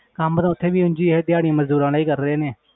ਕੰਮ ਤੇ ਉੱਥੇ ਵੀ ਉਞ ਹੀ ਹੈ ਦਿਹਾੜੀ ਮਜ਼ਦੂਰਾਂ ਵਾਲਾ ਹੀ ਕਰ ਰਹੇ ਨੇ,